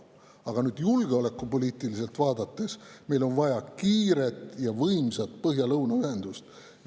Aga julgeolekupoliitiliselt on meil vaja kiiret ja võimsat põhja ja lõuna ühendust.